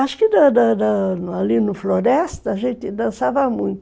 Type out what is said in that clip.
Acho que da da da... Ali na floresta, a gente dançava muito.